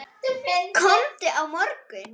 Komdu á morgun.